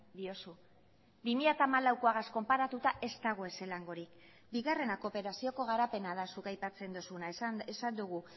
diozu bi mila hamalaukoagaz konparatuta ez dago ezelangorik bigarrena kooperazioko garapena da zuk aipatzen duzuna esan dugu